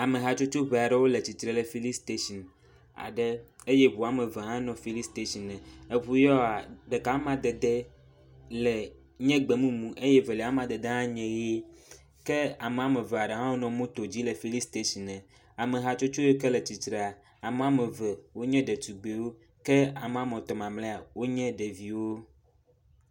Amehatsotso ʋɛ aɖewo le tsitre le fili station aɖe eye ʋu woameve hã nɔ fili stationɛ. Eʋu ya woa, ɖeka wo amadede le nye gbemumu eye velia amadede hã nye ɣe ke ame ameve aɖe hã wonɔ moto dzi le fili stationɛ, amehatsotso ke wo le tsitrea, ame woameve nye ɖetugbuiwo ke ame woametɔ mamlea wonye ɖeviwo.